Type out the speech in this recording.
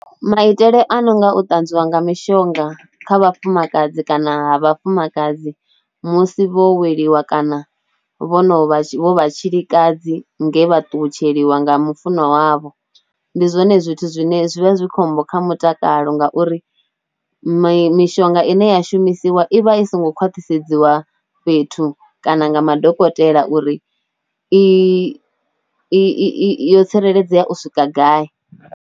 Maitele a no nga u tanzwiwa nga mishonga kha vhafumakadzi kana ha vhafumakadzi musi vho weliwa kana vho no vha, vho vha tshilikadzi nge vha ṱutsheliwa nga mu funwa wavho, ndi zwone zwithu zwine zwi vha zwi khombo kha mutakalo ngauri mishonga ine ya shumisiwa i vha i songo khwaṱhisedziwa fhethu kana nga madokotela uri i i yo tsireledzea u swika gai.